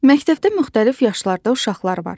Məktəbdə müxtəlif yaşlarda uşaqlar var.